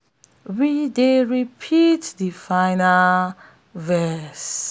we dey repeat de final verse de final verse wen de task don almost dey complete